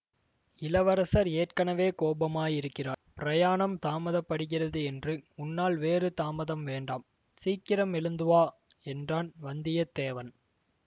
இளவரசர் ஏற்கெனவே கோபமாயிருக்கிறார் பிரயாணம் தாமதப்படுகிறது என்று உன்னால் வேறு தாமதம் வேண்டாம் சீக்கிரம் எழுந்து வா என்றான் வந்தியத்தேவன்